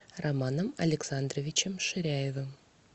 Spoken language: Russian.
романом александровичем ширяевым